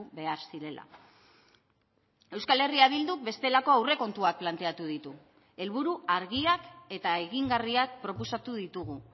behar zirela euskal herria bilduk bestelako aurrekontuak planteatu ditu helburu argiak eta egingarriak proposatu ditugu